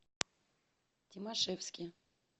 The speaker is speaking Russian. тимашевске